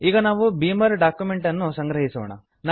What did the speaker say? ಈಗ ನಾವು beamer document ಅನ್ನು ಸಂಗ್ರಹಿಸೋಣ